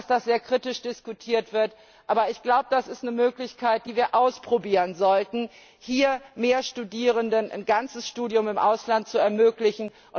Ich weiß, dass das sehr kritisch diskutiert wird, aber ich glaube, das ist eine Möglichkeit, die wir ausprobieren sollten, um mehr Studierenden ein ganzes Studium im Ausland zu ermöglichen.